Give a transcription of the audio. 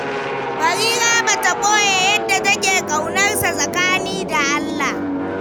Barira ba ta ɓoye yadda take ƙaunar sa tsakani da Allah.